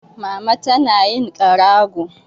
Mama tana yin ƙarago.